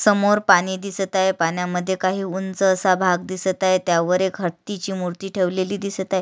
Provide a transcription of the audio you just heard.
समोर पाणी दिसत आहे पाण्यामध्ये काही उंच असा भाग दिसत आहे त्यावर एक हतीची मूर्ती ठेवलेली दिसत आहे.